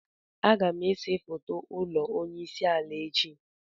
Agam ese foto ulo onye isi ala echi.